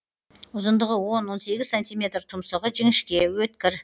ұзындығы он он сегіз сантиметр тұмсығы жіңішке өткір